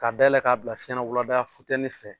Ka dayɛlɛ k'a bila fiɲɛ na wulada fɛtɛnin fɛ.